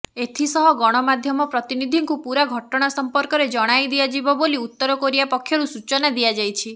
ଏଥିସହ ଗଣାମାଧ୍ୟମ ପ୍ରତିନିଧିଙ୍କୁ ପୁରା ଘଟଣା ସମ୍ପର୍କରେ ଜଣାଇ ଦିଆଯିବ ବୋଲି ଉତ୍ତର କୋରିଆ ପକ୍ଷରୁ ସୂଚନା ଦିଆଯାଇଛି